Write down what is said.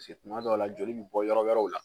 tuma dɔw la joli bɛ bɔ yɔrɔ wɛrɛw la